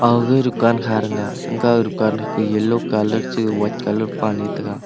age dukan kha thega age dukan kha ke yellow colour chi white colour pale tega.